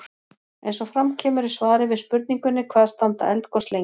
eins og fram kemur í svari við spurningunni hvað standa eldgos lengi